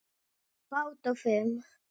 Fát og fum